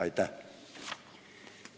Aitäh!